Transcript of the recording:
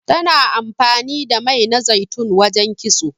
Tana amfani da mai na zaitun wajen kitso.